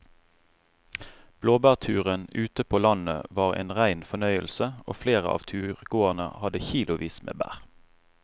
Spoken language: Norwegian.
Blåbærturen ute på landet var en rein fornøyelse og flere av turgåerene hadde kilosvis med bær.